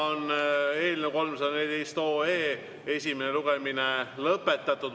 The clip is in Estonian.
Eelnõu 314 esimene lugemine on lõpetatud.